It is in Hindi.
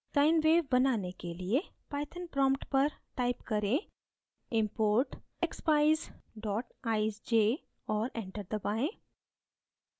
sine wave बनाने के लिए python prompt पर type करें: import expeyes eyesj और enter दबाएँ